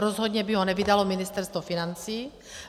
Rozhodně by ho nevydalo Ministerstvo financí.